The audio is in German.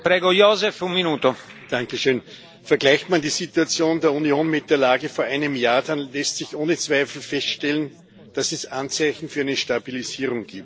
Herr Präsident! Vergleicht man die Situation der Union mit der Lage von vor einem Jahr, dann lässt sich ohne Zweifel feststellen, dass es Anzeichen für eine Stabilisierung gibt.